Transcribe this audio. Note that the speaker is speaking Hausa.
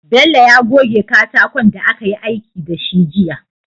Bello ya goge katakon da akayi aiki dashi jiya